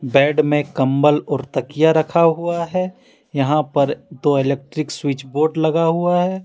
Bed में कंबल और तकिया रखा हुआ है यहां पर दो इलेक्ट्रिक स्विच बोर्ड लगा हुआ है।